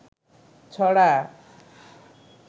ছড়া